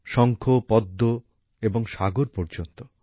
সংখ পদম্ এবং সাগর পর্যন্ত